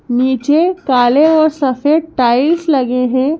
नीचे काले और सफेद टाइल्स लगे हैं।